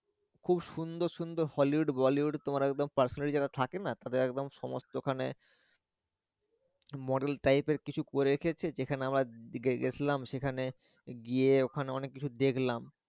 খুব সুন্দর সুন্দর Hollywood Bollywood তোমার একদম যেটা থাকে না তাদের একদম সমস্থ থাকে model type এর কিছু করে এসেছে যেখানে আমরা গেছলাম সেখানে গিয়ে ওখানে অনেক কিছু দেখলাম।